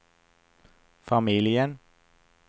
familjen